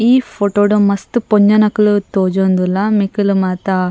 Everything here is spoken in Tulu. ಈ ಫೊಟೋ ಡು ಮಸ್ತ್ ಪೊಂಜೊನಕ್ಲ್ ತೋಜೊಂದುಲ್ಲ ನಿಕುಲು ಮಾತ --